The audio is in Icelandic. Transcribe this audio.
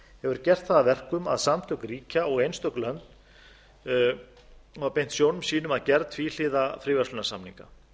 hefur gert það að verkum að samtök ríkja og einstök lönd hafa beint sjónum sínum að gerð tvíhliða fríverslunarsamninga